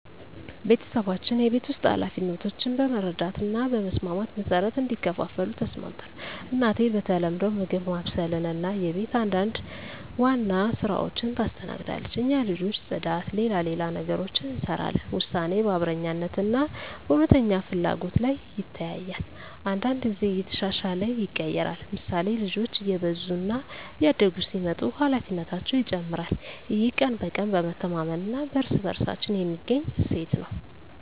ቤተሰባችን የቤት ውስጥ ኃላፊነቶችን በመረዳት እና በመስማማት መሠረት እንዲከፋፈሉ ተስማምተን ነው። እናቴ በተለምዶ ምግብ ማብሰልን እና የቤት አንዳንድ ዋና ሥራዎችን ታስተናግዳለች። እኛ ልጆች ጽዳት፣ ሌላ ሌላ ነገሮችን እንሰራለን ውሳኔ በአብረኛነት እና በእውነተኛ ፍላጎት ላይ ይተያያል። አንዳንድ ጊዜ እየተሻሻለ ይቀየራል፤ ምሳሌ፣ ልጆች እየበዙ እና እያደጉ ሲመጡ ኃላፊነታቸው ይጨመራል። ይህ ቀን በቀን በመተማመን እና በእርስ በእርሳችን የሚገኝ እሴት ነው።